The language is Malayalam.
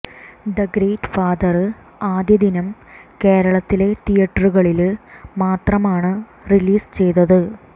ദ ഗ്രേറ്റ് ഫാദര് ആദ്യ ദിനം കേരളത്തിലെ തിയറ്ററുകളില് മാത്രമാണ് റിലീസ് ചെയ്തത്